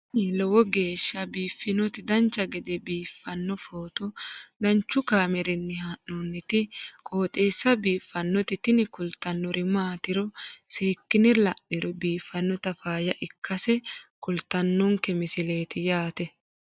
tini lowo geeshsha biiffannoti dancha gede biiffanno footo danchu kaameerinni haa'noonniti qooxeessa biiffannoti tini kultannori maatiro seekkine la'niro biiffannota faayya ikkase kultannoke misileeti yaate